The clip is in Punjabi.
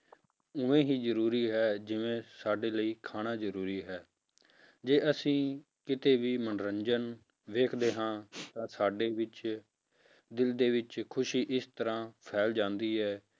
ਉਵੇਂ ਹੀ ਜ਼ਰੂਰੀ ਹੈ ਜਿਵੇਂ ਸਾਡੇ ਲਈ ਖਾਣਾ ਜ਼ਰੂਰੀ ਹੈ, ਜੇ ਅਸੀਂ ਕਿਤੇ ਵੀ ਮਨੋਰੰਜਨ ਵੇਖਦੇ ਹਾਂ ਤਾਂ ਸਾਡੇ ਵਿੱਚ ਦਿਲ ਦੇ ਵਿੱਚ ਖ਼ੁਸ਼ੀ ਇਸ ਤਰ੍ਹਾਂ ਫੈਲ ਜਾਂਦੀ ਹੈ।